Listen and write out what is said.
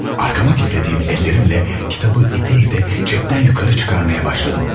Arkama gizlədiyim əllərimlə kitabı itə-itə cəbdən yuxarı çıxarmaya başladım.